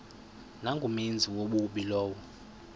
nangumenzi wobubi lowo